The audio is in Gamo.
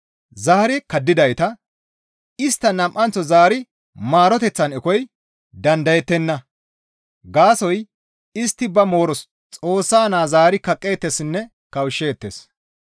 zaari kaddidayta, istta nam7anththo zaari maaroteththan ekoy dandayettenna; gaasoykka istti ba mooros Xoossa Naa zaari kaqqeettessinne kawushsheettes.